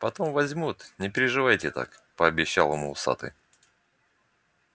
потом возьмут не переживайте так пообещал ему усатый